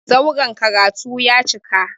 Zauren karatu ya cika.